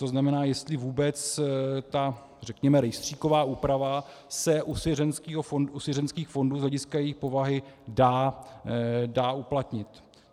To znamená, jestli vůbec ta, řekněme, rejstříková úprava se u svěřeneckých fondů z hlediska jejich povahy dá uplatnit.